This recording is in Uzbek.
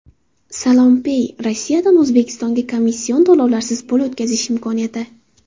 SalamPay – Rossiyadan O‘zbekistonga komission to‘lovlarsiz pul o‘tkazish imkoniyati.